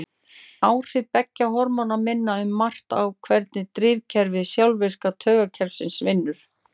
Áhrif beggja hormóna minna um margt á hvernig drifkerfi sjálfvirka taugakerfisins vinnur.